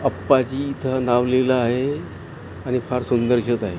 अप्पाजी इथ नाव लिहल आहे आणि फार सुंदर दिसत आहे.